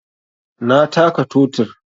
Na taka totir